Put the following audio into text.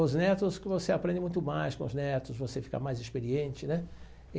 Os netos, que você aprende muito mais com os netos, você fica mais experiente, né?